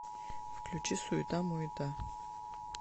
включи суета муета